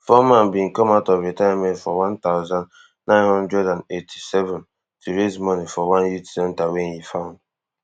foreman bin come out of retirement for one thousand, nine hundred and eighty-seven to raise money for one youth centre wey e found